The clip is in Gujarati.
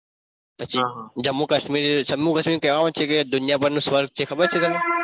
પછી જમ્મુ કાશ્મીર જમ્મુ કાશ્મીર કહેવાય છે કે દુનિયાભરનું સ્વર્ગ છે ખબર છે તમન